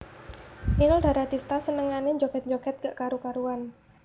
Inul Daratista senengane njoget njoget gak karu karuan